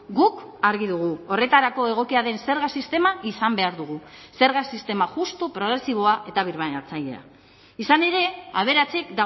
guk argi dugu horretarako egokia den zerga sistema izan behar dugu zerga sistema justu progresiboa eta birbanatzailea izan ere aberatsek